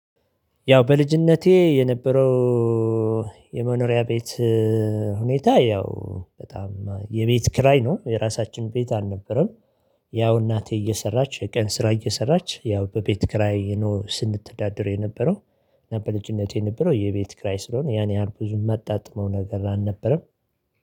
ያው በልጅነቴ የነበረው የመኖሪያ ቤት ሁኔታ ያው በጣም የቤት ክራይ ነው የራሳችን ቤት አልነበረም። ያው እናቴ እየሰራች የቀን ስራ እየሰራች ያው በቤት ክራይ ስንተዳደር የነበረው በልጅነቴ የነበረው የቤት ክራይ ስለሆነ ያን ያህል ብዙም ማጣጥመው ነገር አልነበረም